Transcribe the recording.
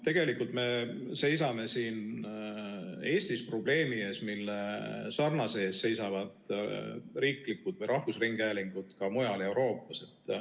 Tegelikult me seisame siin Eestis probleemi ees, mille ees seisavad riiklikud või rahvusringhäälingud ka mujal Euroopas.